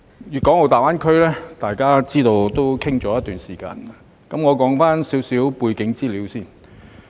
粵港澳大灣區已討論了一段時間，我先談談一些背景資料。